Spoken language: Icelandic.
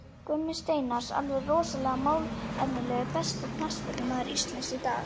Gummi Steinars, alveg rosalega málefnalegur Besti knattspyrnumaður Íslands í dag?